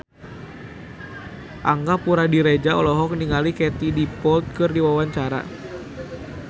Angga Puradiredja olohok ningali Katie Dippold keur diwawancara